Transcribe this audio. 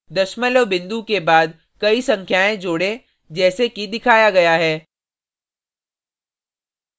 दशमलव बिंदु के बाद कई संख्याएँ जोडें जैसे कि दिखाया गया है